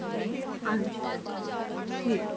ਹਾਂਜੀ ਹਾਂਜੀ ਠੀਕ ਏ